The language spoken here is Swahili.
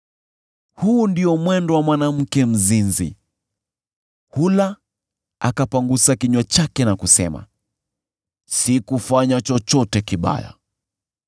“Huu ndio mwendo wa mwanamke mzinzi, hula akapangusa kinywa chake na kusema, ‘Sikufanya chochote kibaya.’